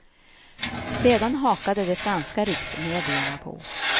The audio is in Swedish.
Sedan hakade de franska riksmedierna på.